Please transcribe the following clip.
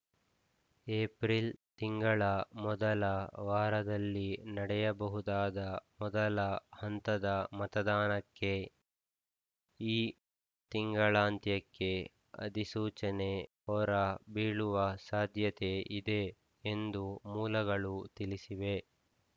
April ತಿಂಗಳ ಮೊದಲ ವಾರದಲ್ಲಿ ನಡೆಯಬಹುದಾದ ಮೊದಲ ಹಂತದ ಮತದಾನಕ್ಕೆ ಈ ತಿಂಗಳಾಂತ್ಯಕ್ಕೆ ಅಧಿಸೂಚನೆ ಹೊರ ಬೀಳುವ ಸಾಧ್ಯತೆ ಇದೆ ಎಂದು ಮೂಲಗಳು ತಿಳಿಸಿವೆ